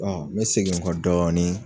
me segi n kɔ dɔɔnin